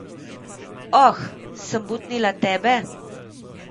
Oh, sem butnila tebe?